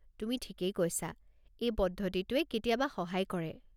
তুমি ঠিকেই কৈছা, এই পদ্ধতিটোৱে কেতিয়াবা সহায় কৰে।